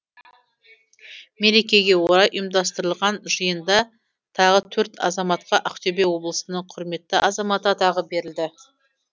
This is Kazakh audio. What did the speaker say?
мерекеге орай ұйымдастырылған жиында тағы төрт азаматқа ақтөбе облысының құрметті азаматы атағы берілді